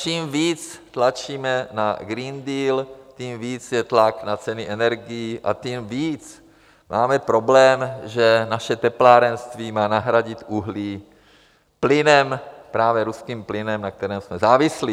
Čím víc tlačíme na Green Deal, tím víc je tlak na ceny energií a tím víc máme problém, že naše teplárenství má nahradit uhlí plynem, právě ruským plynem, na kterém jsme závislí.